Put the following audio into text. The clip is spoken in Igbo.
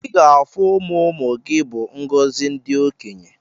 Iga afu ụmụmụ gi bu ngozi ndi okenye.